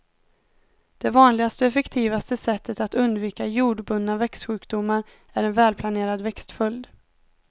Det vanligaste och effektivaste sättet att undvika jordbundna växtsjukdomar är en välplanerad växtföljd.